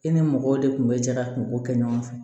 E ni mɔgɔw de kun bɛ jɛ ka kungo kɛ ɲɔgɔn fɛ